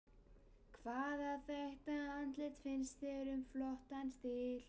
Hvaða þekkta andlit finnst þér með flottan stíl?